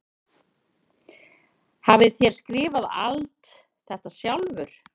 Hafið þér skrifað alt þetta sjálfur?